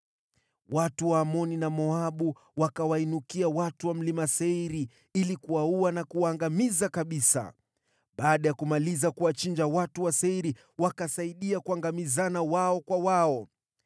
Watu wa Amoni na Moabu wakawainukia watu wa Mlima Seiri ili kuwaua na kuwaangamiza kabisa. Baada ya kumaliza kuwachinja watu wa Seiri, wakaangamizana wao kwa wao.